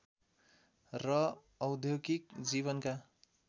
र औद्योगिक जीवनका